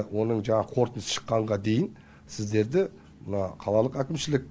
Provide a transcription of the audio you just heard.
оның жаңағы қорытындысы шыққанға дейін сіздерді мына қалалық әкімшілік